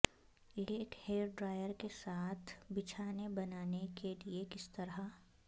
ایک hair dryer کے ساتھ بچھانے بنانے کے لئے کس طرح